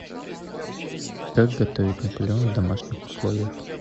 как готовить наполеон в домашних условиях